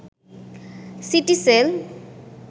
Citycell